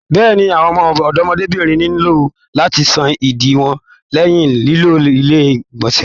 Bẹ́ẹ̀ni àwọn ọmọbìnrin nilo láti sàn ìdí wọn lẹyìn lilo ilé igbọnsẹ.